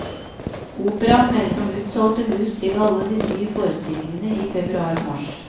Operaen melder om utsolgte hus til alle de syv forestillingene i februar og mars.